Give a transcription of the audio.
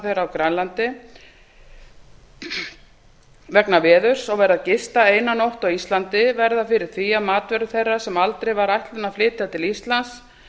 þeirra á grænlandi vegna veðurs og verða að gista eina nótt á íslandi verða fyrir því að matvörur þeirra sem aldrei var ætlunin að flytja til íslands